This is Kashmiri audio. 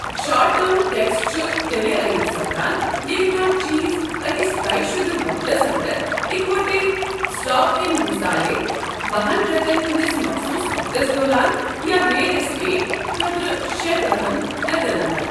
شارٹ ٹرم ٹٮ۪کس چھِ تیٚلہِ عٲید سپدان ییٚلہِ کانٛہہ چیٖز أکس طے شُدٕ وقتس انٛدر، اِکوِٹی سٹاک کٮ۪ن مثالے بَہن رٮ۪تن ہندِس مخصوص وقتس دوران یا رِیل اٮ۪سٹیٹ خٲطرٕشےتٕرہَن رٮ۪تن انٛدر۔